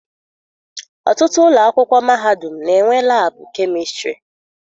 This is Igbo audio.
Ọtụtụ ụlọ akwụkwọ mahadum na-enwe laabụ kemistịrị.